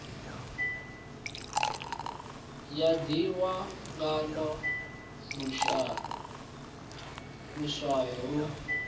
ya ḓihwa ngaḽo luswayo lu